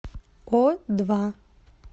о два